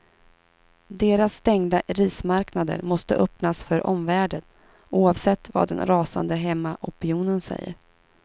Deras stängda rismarknader måste öppnas för omvärlden, oavsett vad den rasande hemmaopinionen säger.